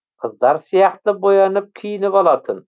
қыздар сияқты боянып киініп алатын